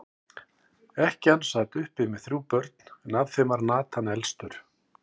Ekkjan sat uppi með þrjú börn, en af þeim var Nathan elstur.